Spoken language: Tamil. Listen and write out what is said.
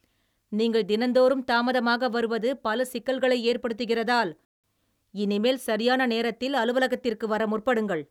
நீங்கள் தினந்தோறும் தாமதமாக வருவது பல சிக்கல்களை ஏற்படுத்துகிறதால் இனிமேல் சரியான நேரத்தில் அலுவலகத்திற்கு வர முற்படுங்கள்